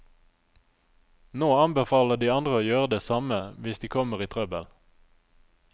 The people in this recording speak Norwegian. Nå anbefaler de andre å gjøre det samme hvis de kommer i trøbbel.